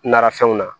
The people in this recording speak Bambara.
Nara fɛnw na